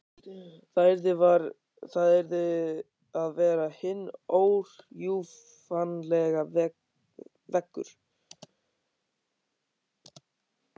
Það yrði að vera hinn órjúfanlegi veggur.